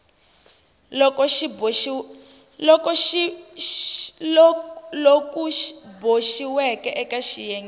loku boxiweke eka xiyenge xa